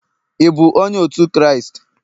ị bụ onye otu Kraịst?